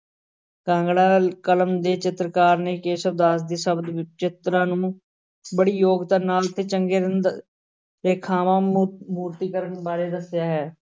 ਕਾਂਗੜਾ ਕਲਮ ਦੇ ਚਿਤਰਕਾਰ ਨੇ ਕੇਸ਼ਵ ਦਾਸ ਦੇ ਸ਼ਬਦ ਚਿਤਰਾਂ ਨੂੰ ਬੜੀ ਯੋਗਤਾ ਨਾਲ ਤੇ ਚੰਗੇ ਰੇਖਾਵਾਂ ਮੂ~ ਮੂਰਤੀਕਰਨ ਬਾਰੇ ਦੱਸਿਆ ਹੈ।